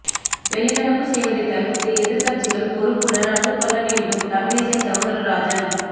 வெளிநடப்பு செய்வதை தவிர்த்து எதிர்க்கட்சிகள் பொறுப்புடன் நடந்துகொள்ள வேண்டும் தமிழிசை சவுந்தரராஜன்